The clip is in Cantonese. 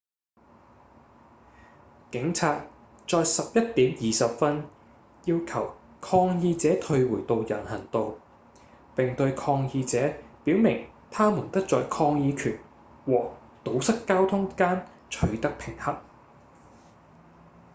警察在11點20分要求抗議者退回到人行道並對抗議者表明他們得在抗議權和堵塞交通間取得平衡